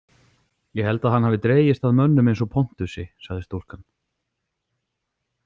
Ég held að hann hafi dregist að mönnum eins og Pontusi, sagði stúlkan.